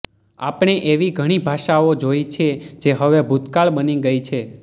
આપણે એવી ઘણી ભાષાઓ જોઈ છે જે હવે ભૂતકાળ બની ગઈ છે